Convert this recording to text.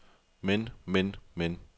men men men